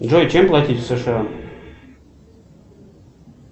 джой чем платить в сша